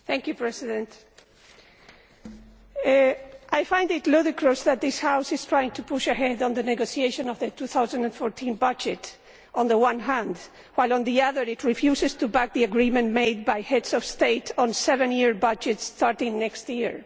Mr President, I find it ludicrous that this House is trying to push ahead on the negotiation of the 2014 budget, on the one hand, while on the other it refuses to back the agreement made by Heads of State on the seven year budget starting next year.